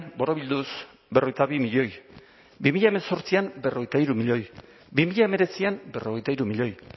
borobilduz berrogeita bi milioi bi mila zortzian berrogeita hiru milioi bi mila hemeretzian berrogeita hiru milioi